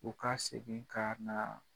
U ka segin kaa naa